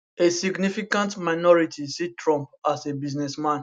a significant minority see trump as a businessman